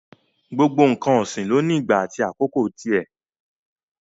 Gbogbo n̄ǹkan ọ̀sìn ló ní ìgbà àti àkókò ti ẹ̀.